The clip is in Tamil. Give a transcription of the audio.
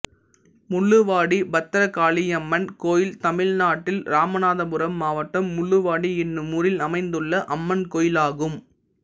முள்ளுவாடி பத்திரகாளியம்மன் கோயில் தமிழ்நாட்டில் இராமநாதபுரம் மாவட்டம் முள்ளுவாடி என்னும் ஊரில் அமைந்துள்ள அம்மன் கோயிலாகும்